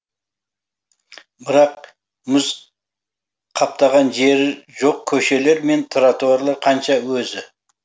бірақ мұз қаптаған жері жоқ көшелер мен тротуарлар қанша өзі